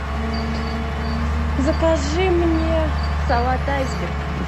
закажи мне салат айсберг